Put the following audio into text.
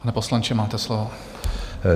Pane poslanče, máte slovo.